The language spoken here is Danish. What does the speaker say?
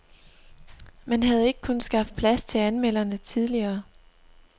Man havde ikke kunnet skaffe plads til anmelderne tidligere.